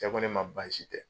Cɛ kɔ ne ma baasi tɛ